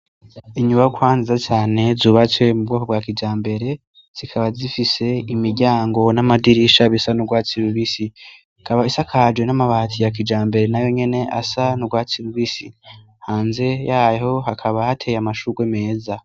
Inyubakwa nziza cane zubatswe mu bwoko bwa kijambere, zikaba zifise imiryango n'amadirisha bisa n'urwatsi rubisi. Ikaba isakaje n'amabati ya kijambere na yo nyene asa n'urwatsi rubisi, hanze yayo hakaba hateye amashugwe meza.